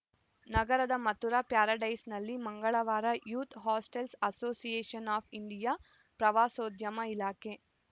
ನಗರದ ಮಥುರಾ ಪ್ಯಾರಡೈಸ್‌ನಲ್ಲಿ ಮಂಗಳವಾರ youth hostels association of India ಪ್ರವಾಸೋದ್ಯಮ ಇಲಾಖೆ